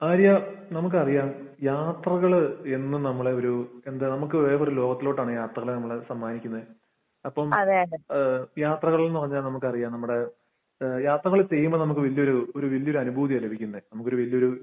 ആര്യാ, നമുക്കറിയാം യാത്രകൾ എന്നും നമ്മുടെയൊരു എന്താ നമുക്ക് വേറെയൊരു ലോകത്തിലോട്ടാണ് യാത്രകൾ നമ്മൾ സമ്മാനിക്കുന്നത്. അപ്പോൾ യാത്രകൾ എന്ന് പറഞ്ഞാൽ നമുക്കറിയാം നമ്മുടെ ഏഹ് യാത്രകൾ ചെയ്യുമ്പോൾ നമുക്ക് വലിയ ഒരു ഒരു വലിയൊരു അനുഭൂതിയാണ് ലഭിക്കുന്നത്. നമുക്ക് വലിയ ഒരു